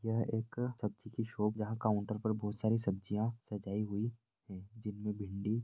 यह एक सब्जी की शॉप जहाँ काउंटर पर बहुत सारी सब्जियां सजाई हुई है। जिनमें भिन्डी --